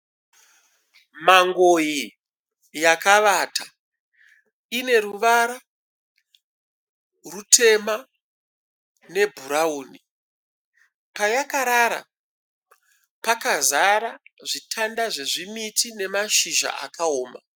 Mangoyi yakavata. Ineruvara rutema nebhurawuni. Payakarara pakazara zvitanda zvezvimiti nemashizha akaoma.